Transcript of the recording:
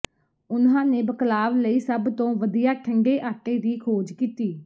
ਉਨ੍ਹਾਂ ਨੇ ਬਕਲਾਵ ਲਈ ਸਭ ਤੋਂ ਵਧੀਆ ਠੰਡੇ ਆਟੇ ਦੀ ਖੋਜ ਕੀਤੀ